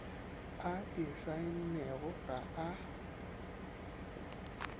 a e saennego ga a